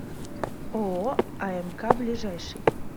ооо амк ближайший